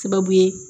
Sababu ye